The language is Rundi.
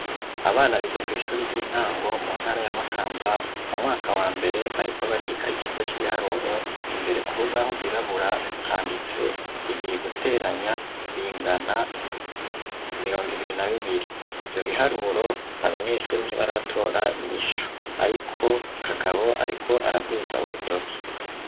Abana biga kw'ishure ry'intango mu ntara ya Makamba mu mwaka wa mbere bariko bariga ikigo c'ibiharuro imbere k'urubaho rwirabura handitse ibiri guteranya bingana mirongo ibiri na bibiri ivyo biharuro abanyeshure ntibaratora inyishu ariko Kagabo ariko araduza urutoke.